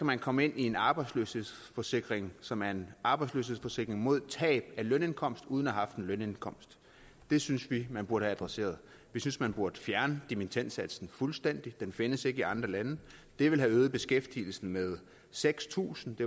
man komme ind i en arbejdsløshedsforsikring som er en arbejdsløshedsforsikring mod tab af lønindkomst uden at have haft en lønindkomst det synes vi man burde have adresseret vi synes man burde fjerne dimittendsatsen fuldstændig den findes ikke i andre lande det ville have øget beskæftigelsen med seks tusind